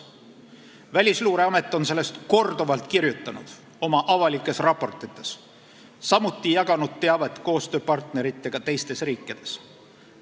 Välisluureamet on sellest korduvalt kirjutanud oma avalikes raportites, samuti jaganud teavet koostööpartneritega teistes riikides.